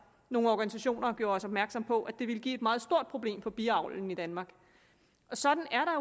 nogle organisationer gjorde os opmærksom på at det ville blive et meget stort problem for biavlen i danmark sådan er